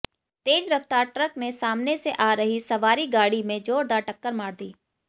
तेज रफ्तार ट्रक ने सामने से आ रही सवारी गाड़ी में जोरदार टक्कर मार दी